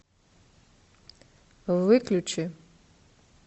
выключи